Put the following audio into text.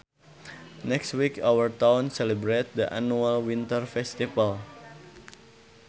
Next week our town celebrates the annual winter festival